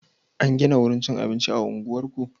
An gina wurin cikin abinci a unguwarku?